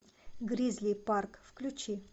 гризли парк включи